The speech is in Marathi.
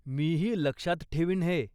मीही लक्षात ठेवीन हे.